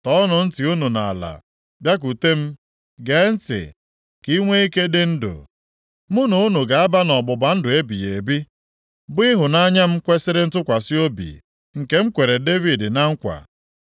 “Tọọnụ ntị unu nʼala, bịakwute m! Gee ntị, ka inwe ike dị ndụ. Mụ na unu ga-aba nʼọgbụgba ndụ ebighị ebi, bụ ịhụnanya m kwesiri ntụkwasị obi nke m kwere Devid na nkwa.